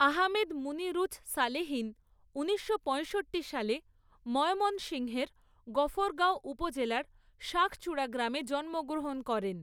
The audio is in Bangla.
আহমেদ মুনিরুছ সালেহীন ঊনিশশো পঁয়ষট্টি সালে ময়মনসিংহের গফরগাঁও উপজেলার শাঁখচূড়া গ্রামে জন্মগ্রহণ করেন।